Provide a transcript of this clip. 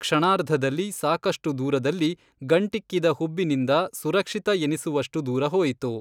ಕ್ಷಣಾರ್ಧದಲ್ಲಿ ಸಾಕಷ್ಟು ದೂರದಲ್ಲಿ, ಗಂಟಿಕ್ಕಿದ ಹುಬ್ಬಿನಿಂದ ಸುರಕ್ಷಿತ ಎನಿಸುವಷ್ಟು ದೂರ ಹೋಯಿತು.